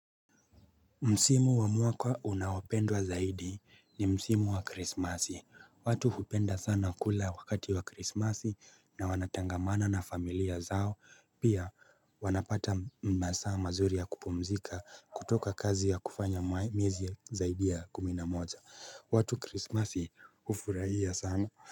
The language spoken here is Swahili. Msimu wa mwaka unaopendwa zaidi ni Msimu wa Krismasi. Watu hupenda sana kula wakati wa Krismasi na wanatangamana na familia zao. Pia wanapata masaa mazuri ya kupumzika kutoka kazi ya kufanya miezi zaidi ya kumi na moja. Watu Krismasi hufurahia sana.